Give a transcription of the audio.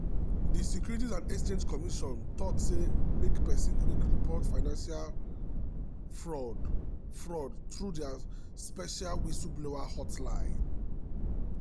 di securities and exchange commission talk say make person quick report suspected financial fraud fraud through dia special whistleblower hotline.